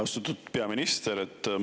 Austatud peaminister!